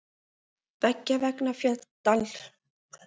beggja vegna dalsins eru há fjöll og sæbrattar hlíðar